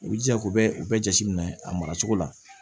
U jija ko bɛɛ u bɛɛ jate minɛ a mara cogo la